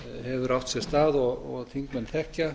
hefur átt sér stað og þingmenn þekkja